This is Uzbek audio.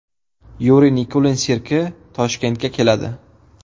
Yuriy Nikulin sirki Toshkentga keladi.